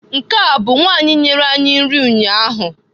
Nke a bu nwanyi nyere anyi nri ụnyaahụ?